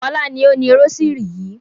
Fọlá ni ó ni rósírì yìí.